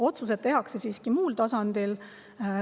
Otsused tehakse siiski muul tasandil.